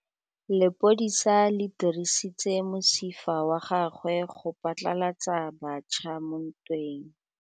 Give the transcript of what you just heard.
Lepodisa le dirisitse mosifa wa gagwe go phatlalatsa batšha mo ntweng.